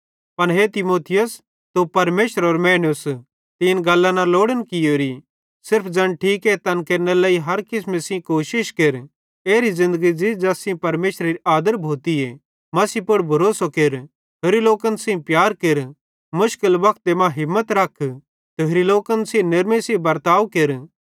पन हे तीमुथियुस तू परमेशरेरो मैनूस तीं इन गल्लां न लोड़न कियोरी सिर्फ ज़ैन ठीके तैन केरनेरे लेइ हर किसमे सेइं कोशिश केर एरी ज़िन्दगी ज़ी ज़ैस सेइं परमेशरेरी आदर भोती मसीह पुड़ भरोसो केर होरि लोकन सेइं प्यार केर मुश्किल वक्ते मां हिम्मत रख ते होरि लोकन सेइं नेरमी सेइं बर्ताव केर